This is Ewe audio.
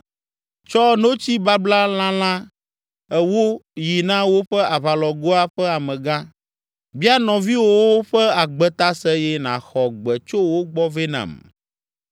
Tsɔ notsi babla lalã ewo yi na woƒe aʋalɔgoa ƒe amegã, bia nɔviwòwo ƒe agbe ta se eye nàxɔ gbe tso wo gbɔ vɛ nam.